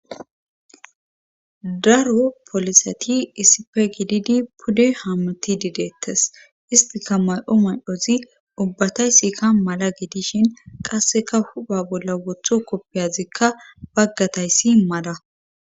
daro polisati issife gididi pude haamuti dideettes istika may7o may7ozi ubbataysi ka mala gidishin qasseka huba bolla wotho koppiyazikka baggatayssi mada